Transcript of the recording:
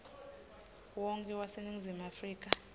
wonkhe waseningizimu afrika